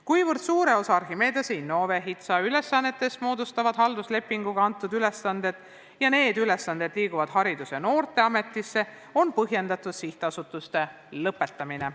Kuna suure osa Archimedese, Innove ja HITSA ülesannetest moodustavad halduslepinguga antud ülesanded ja need ülesanded liiguvad Haridus- ja Noorteametisse, on põhjendatud sihtasutuste eksistentsi lõpetamine.